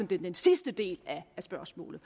den sidste del af spørgsmålet